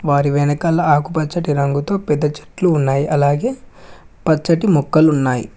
వారి వెనకాల ఆకుపచ్చటి రంగుతో పెద్ద చెట్లు ఉన్నాయి అలాగే పచ్చటి మొక్కలున్నాయ్.